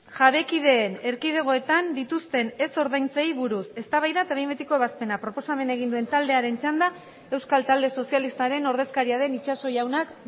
jabekideen erkidegoetan dituzten ez ordaintzeei buruz eztabaida eta behin betiko ebazpena proposamena egin duen taldearen txanda euskal talde sozialistaren ordezkaria den itxaso jaunak